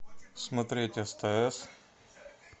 смотреть стс